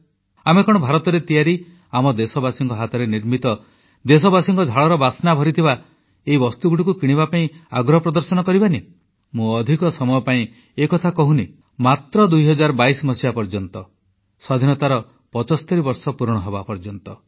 ଆମେ କଣ ଭାରତରେ ତିଆରି ଆମ ଦେଶବାସୀଙ୍କ ହାତରେ ନିର୍ମିତ ଦେଶବାସୀଙ୍କ ଝାଳର ବାସ୍ନା ଭରିଥିବା ଏହି ବସ୍ତୁଗୁଡ଼ିକୁ କିଣିବା ପାଇଁ ଆଗ୍ରହ ପ୍ରଦର୍ଶନ କରିବା ନାହିଁ ମୁଁ ଅଧିକ ସମୟ ପାଇଁ ଏକଥା କହୁନାହିଁ ମାତ୍ର 2022 ମସିହା ପର୍ଯ୍ୟନ୍ତ ସ୍ୱାଧୀନତାର 75 ବର୍ଷ ପୂରଣ ହେବା ପର୍ଯ୍ୟନ୍ତ